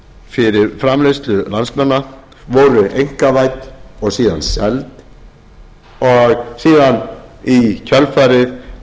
fyrir framleiðslu landsmanna voru einkavædd og síðan seld og síðan í kjölfarið